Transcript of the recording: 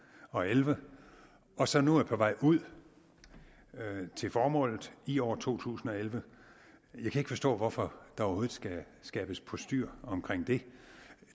og elleve og som nu er på vej ud til formålet i år to tusind og elleve jeg kan ikke forstå hvorfor der overhovedet skal skabes postyr omkring det